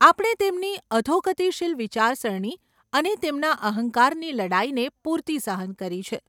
આપણે તેમની અધોગતિશીલ વિચારસરણી અને તેમના અહંકારની લડાઈને પૂરતી સહન કરી છે.